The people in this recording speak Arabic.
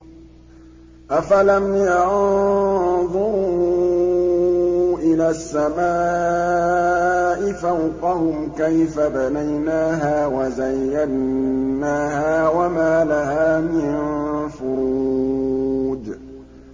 أَفَلَمْ يَنظُرُوا إِلَى السَّمَاءِ فَوْقَهُمْ كَيْفَ بَنَيْنَاهَا وَزَيَّنَّاهَا وَمَا لَهَا مِن فُرُوجٍ